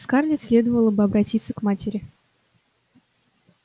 скарлетт следовало бы обратиться к матери